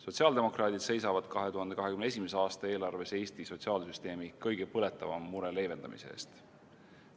Sotsiaaldemokraadid seisavad 2021. aasta eelarves Eesti sotsiaalsüsteemi kõige põletavama mure leevendamise eest.